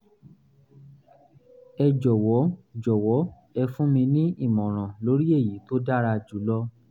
ẹ jọ̀wọ́ jọ̀wọ́ ẹ fún mi ní ìmọ̀ràn lórí èyí tó dára jùlọ